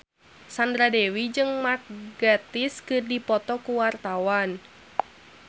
Sandra Dewi jeung Mark Gatiss keur dipoto ku wartawan